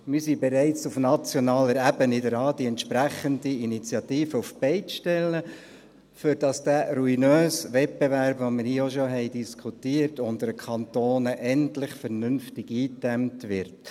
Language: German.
Wir sind auf nationaler Ebene bereits daran, eine entsprechende Initiative auf die Beine zu stellen, damit dieser ruinöse Wettbewerb unter den Kantonen, den wir hier im Grossen Rat auch schon diskutiert haben, endlich vernünftig eingedämmt wird.